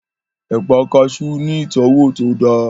Ẹ̀pà kaasú ní ìtọ́wò tó dáa